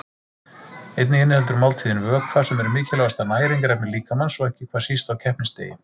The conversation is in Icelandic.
Einnig inniheldur máltíðin vökva sem er mikilvægasta næringarefni líkamans og ekki hvað síst á keppnisdegi.